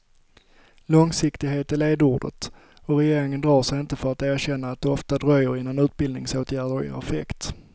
Långsiktighet är ledordet och regeringen drar sig inte för att erkänna att det ofta dröjer innan utbildningsåtgärder ger effekt.